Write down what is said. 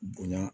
Bonya